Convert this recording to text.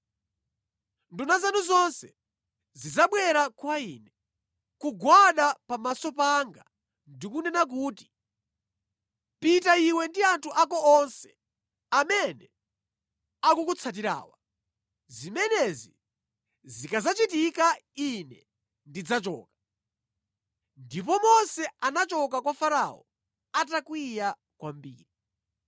Nduna zanu zonse zidzabwera kwa ine, kugwada pamaso panga ndi kunena kuti, “Pita iwe ndi anthu ako onse amene akukutsatirawa! Zimenezi zikadzachitika ine ndidzachoka.” Ndipo Mose anachoka kwa Farao atakwiya kwambiri.